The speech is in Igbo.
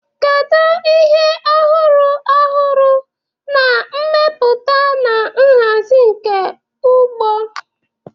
Kedu ihe ọhụrụ ọhụrụ na mmepụta na nhazi nke ugbo?